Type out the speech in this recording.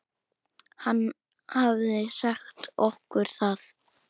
Hann hafði sagt okkur það.